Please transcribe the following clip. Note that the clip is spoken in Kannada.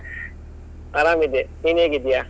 ಆರಾಮ್ ಇದ್ದೆ, ನೀನ್ ಹೇಗಿದ್ಯಾ?